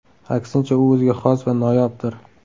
Aksincha, u o‘ziga xos va noyobdir.